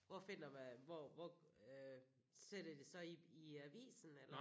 Hvor finder man hvor hvor sætter de så i i avisen eller?